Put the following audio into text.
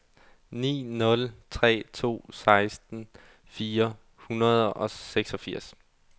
ni nul tre to seksten fire hundrede og seksogfirs